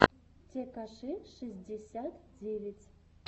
текаши шестьдесят девять